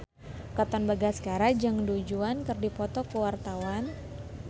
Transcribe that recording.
Katon Bagaskara jeung Du Juan keur dipoto ku wartawan